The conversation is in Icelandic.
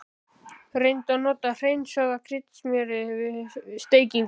Reyndu að nota hreinsaða kryddsmjörið við steikingu.